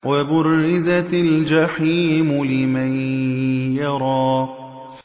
وَبُرِّزَتِ الْجَحِيمُ لِمَن يَرَىٰ